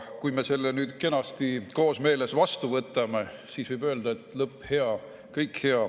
Kui me selle nüüd kenasti koosmeeles vastu võtame, siis võib öelda, et lõpp hea, kõik hea.